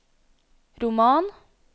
roman